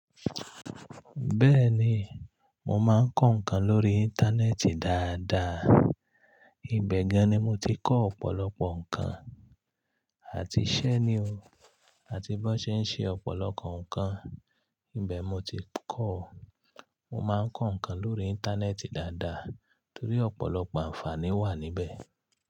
Bẹ́ẹ̀ni, mo máa ń kọ́ nǹkan lórí Íńtánẹ́ẹ̀tì dáadáa, ibẹ̀ gan-an ni mo ti kọ́ ọ̀pọ̀lọpọ̀ nǹkan àti iṣẹ́ ni o, àti bó n ṣe ń ṣe ọ̀pọ̀lọpọ̀ nǹkan. Ibẹ̀ mo ti kọ́, mo máa ń kọ́ nǹkan lórí Íńtánẹ́ẹ̀tì dáadáa torí ọ̀pọ̀lọpọ̀ àǹfààní wà níbẹ̀